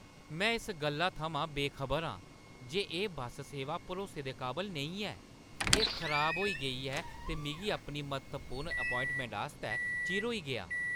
में इस गल्ला थमां बेखबर आं जे एह्‌ बस सेवा भरोसे दे काबल नेईं ऐ। एह्‌ खराब होई गेई ते मिगी अपनी म्हत्तवपूर्ण ऐपोआइंटमैंट आस्तै चिर होई गेआ!